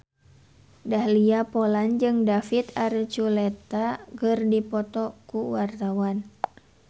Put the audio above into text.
Dahlia Poland jeung David Archuletta keur dipoto ku wartawan